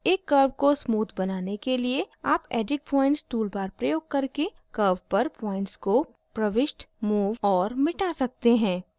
एक curve को smoother बनाने के लिए आप edit points toolbar प्रयोग करके curve पर points को प्रविष्ट move और मिटा सकते हैं